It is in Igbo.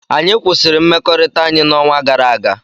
anyị kwụsịrị mmekọrịta anyị n'ọnwa gara aga